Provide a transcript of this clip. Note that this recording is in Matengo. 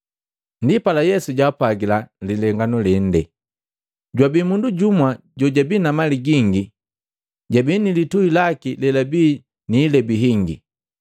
Ndipala Yesu jaapwagila lilengano lende, “Jwabi mundu jumwa jojabi na mali gingi jabii ni litui laki lelabii niilebi hingi.